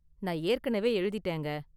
நான் ஏற்கனவே எழுதிட்டேங்க.